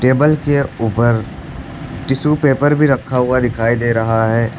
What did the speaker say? Table के ऊपर tissue paper भी रखा हुआ दिखाई दे रहा है।